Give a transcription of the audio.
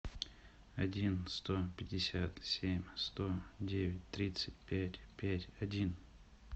один сто пятьдесят семь сто девять тридцать пять пять один